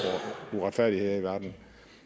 uretfærdigheder i verden